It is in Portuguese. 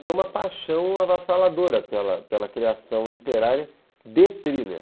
Foi uma paixão avassaladora pela pela criação literária de Thriller.